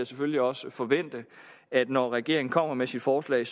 selvfølgelig også forvente at når regeringen kommer med sit forslag